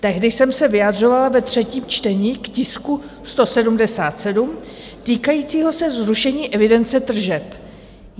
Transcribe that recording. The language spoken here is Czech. Tehdy jsem se vyjadřovala ve třetím čtení k tisku 177 týkajícímu se zrušení evidence tržeb.